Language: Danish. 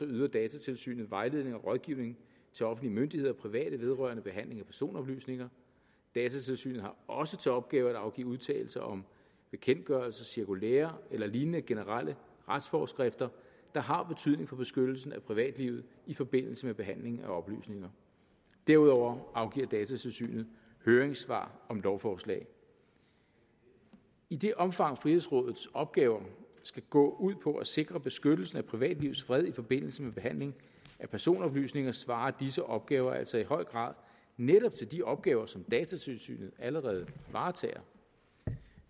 yder datatilsynet vejledning og rådgivning til offentlige myndigheder og private vedrørende behandling af personoplysninger datatilsynet har også til opgave at afgive udtalelser om bekendtgørelser cirkulærer eller lignende generelle retsforskrifter der har betydning for beskyttelsen af privatlivet i forbindelse med behandling af oplysninger derudover afgiver datatilsynet høringssvar om lovforslag i det omfang frihedsrådets opgaver skal gå ud på at sikre beskyttelsen af privatlivets fred i forbindelse med behandling af personoplysninger svarer disse opgaver altså i høj grad netop til de opgaver som datatilsynet allerede varetager